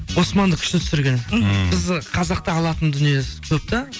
османды күшті түсірген ммм бізді қазақта алатын дүниесі көп та